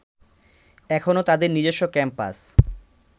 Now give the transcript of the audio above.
এখনো তাদের নিজস্ব ক্যাম্পাস